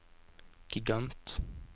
gigant